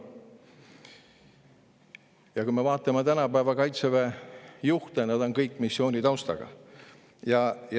Ja kui me vaatame tänapäeva Kaitseväe juhte, siis näeme, et nad kõik on missiooni taustaga.